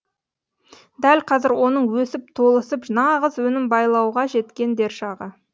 дәл қазір оның өсіп толысып нағыз өнім байлауға жеткен дер шағы